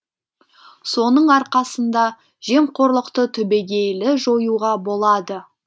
соның арқасында жемқорлықты түбегейлі жоюға болады